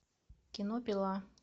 кино пила